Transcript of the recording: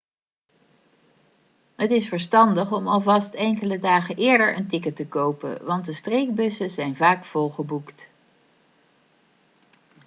het is verstandig om alvast enkele dagen eerder een ticket te kopen want de streekbussen zijn vaak volgeboekt